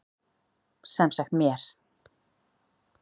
Sem sagt mér.